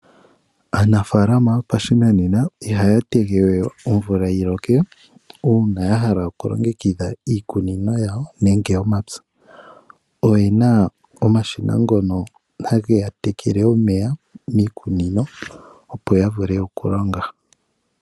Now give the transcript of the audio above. Aanafaalama yopashinanena ihaa tege we omvula yi loke , uuna ya hala oku longekidha iikunino yawo nenge omapya. Oye na omashina ngono hage ya tekele omeya miikunino, opo ya vule oku longa.